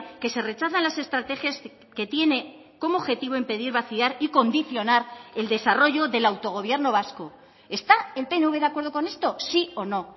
que se rechazan las estrategias que tiene como objetivo impedir vaciar y condicionar el desarrollo del autogobierno vasco está el pnv de acuerdo con esto sí o no